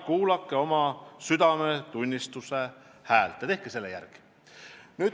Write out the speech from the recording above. Kuulake oma südametunnistuse häält ja otsustage selle järgi.